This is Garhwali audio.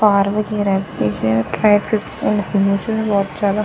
तार भी रखीं च ट्रैफिक होयुं च भौत ज्यादा।